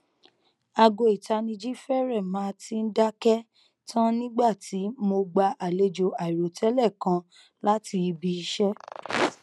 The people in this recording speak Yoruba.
aago itaniji férè má tíì dáké tan nigba ti mo gba alejo airotẹlẹ kan lati ibiiṣẹ